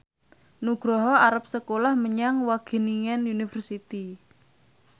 Nugroho arep sekolah menyang Wageningen University